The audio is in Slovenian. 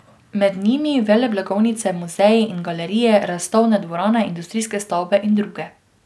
Med njimi veleblagovnice, muzeji in galerije, razstavne dvorane, industrijske stavbe in druge.